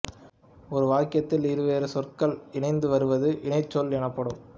ஒரு வாக்கியத்தில் இருவேறு சொற்கள் இணைந்து வருவது இணைச்சொல் எனப்படும்